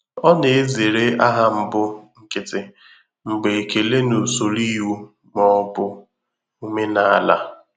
Ọ na-ezere aha mbụ nkịtị mgbe ekele n'usoro iwu ma ọ bụ omenala.